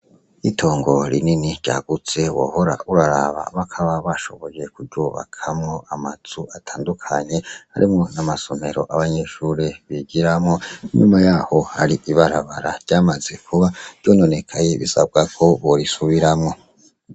Itongo rinini ryagutse wohora uraraba bakaba bashoboye kuryubakamwo amazu atandukanye arimwo namasomero yabanyeshure bigiramwo inyuma yaho hari ibarabara ryamaze kuba ryononekaye bisabako borisubiramwo.